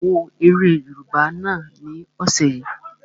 Ṣé o wo eré yóòbá náà ni ọ̀sẹ̀ yìí?